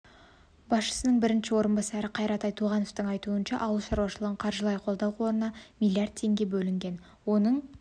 басшысының бірінші орынбасары қайрат айтуғановтың айтуынша ауыл шаруашылығын қаржылай қолдау қорына млрд теңге бөлінген оның